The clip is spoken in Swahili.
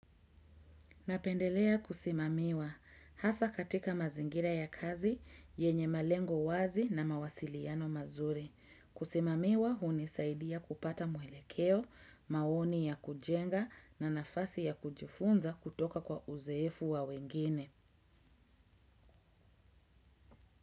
Napendelea kusimamiwa. Hasa katika mazingira ya kazi, yenye malengo wazi na mawasiliano mazuri. Kusimamiwa hunisaidia kupata mwelekeo, maoni ya kujenga na nafasi ya kujifunza kutoka kwa uzoefu wa wengine.